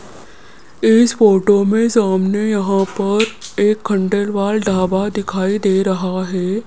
इस फोटो में सामने यहाँ पर एक खंडेलवाल ढाबा दिखाई दे रहा हैं।